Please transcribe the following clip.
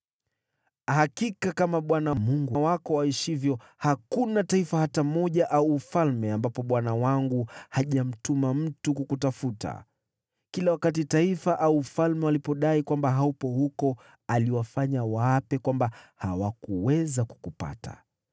Hakika kama Bwana Mungu wako aishivyo, hakuna taifa hata moja au ufalme ambapo bwana wangu hajamtuma mtu kukutafuta. Kila wakati taifa au ufalme walipodai kwamba haupo huko, aliwafanya waape kwamba hawakuweza kukupata.